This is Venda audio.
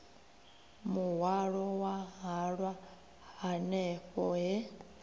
muhwalo wa halwa hanefho he